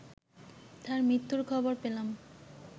তার মৃত্যুর খবর পেলাম